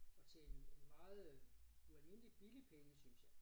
Og til en en meget øh ualmindelig billig penge synes jeg